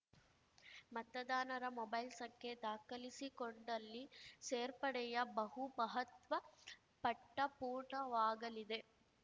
ಮತದಾನರ mobile ಸಂಖ್ಯೆ ದಾಖಲಿಸಿಕೊಂಡಲ್ಲಿ ಸೇರ್ಪಡೆಯ ಬಹು ಮಹತ್ವ ಪಟ್ಟಪೂರ್ಣವಾಗಲಿದೆ